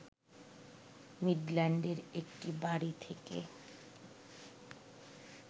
মিডল্যান্ডের একটি বাড়ী থেকে